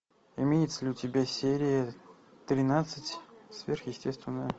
имеется ли у тебя серия тринадцать сверхъестественное